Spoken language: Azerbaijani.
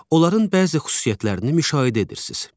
Onların bəzi xüsusiyyətlərini müşahidə edirsiz.